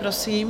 Prosím.